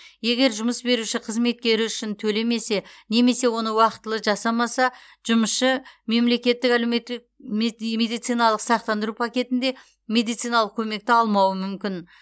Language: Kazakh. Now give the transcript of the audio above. егер жұмыс беруші қызметкері үшін төлемесе немесе оны уақытылы жасамаса жұмысшы мемлекеттік әлеуметтік медициналық сақтандыру пакетінде медициналық көмекті алмауы мүмкін